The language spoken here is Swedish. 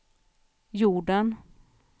jorden